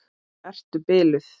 Ertu biluð!